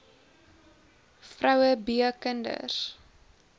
vroue b kinders